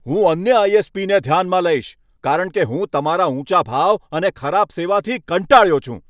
હું અન્ય આઈ.એસ.પી.ને ધ્યાનમાં લઈશ, કારણ કે હું તમારા ઊંચા ભાવ અને ખરાબ સેવાથી કંટાળ્યો છું.